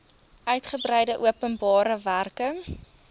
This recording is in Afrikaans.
uigebreide openbare werke